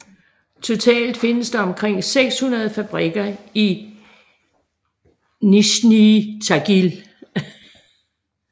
Totalt findes der omkring 600 fabrikker i Nizjnij Tagil